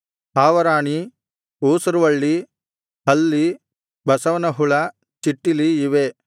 ಹಾವರಾಣಿ ಊಸುರುವಳ್ಳಿ ಹಲ್ಲಿ ಬಸವನಹುಳ ಚಿಟ್ಟಿಲಿ ಇವೇ